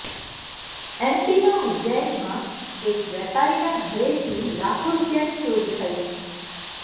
એમપીના ઉજ્જૈનમાં એક વેપારીના ઘરેથી લાખો રુપિયાની ચોરી થઈ